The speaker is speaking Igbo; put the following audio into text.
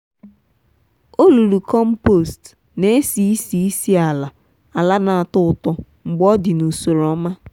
olulu compost n'esi ísì ísì ala ala n'atọ ụtọ mgbe ọdị n'usoro ọma.